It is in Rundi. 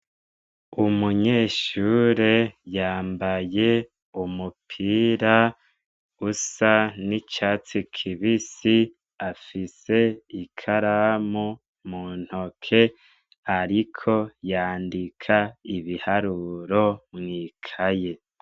Umunyeshure yambaye umupira usa n'icatsi kibisi. Afise ikaramu mu ntoke ariko yandika ibiharuro mw'ikayi.